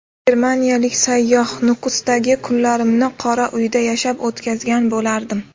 Germaniyalik sayyoh: Nukusdagi kunlarimni qora uyda yashab o‘tkazgan bo‘lardim.